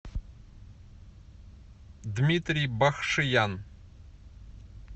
дмитрий бахшиян